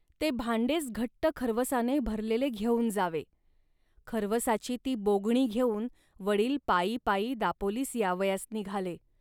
ते भांडेच घट्ट खर्वसाने भरलेले घेऊन जावे. खर्वसाची ती बोगणी घेऊन वडील पायी पायी दापोलीस यावयास निघाले